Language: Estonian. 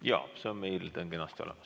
Jaa, see on meil kenasti olemas.